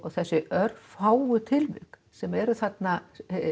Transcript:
þessi örfáu tilvik sem eru þarna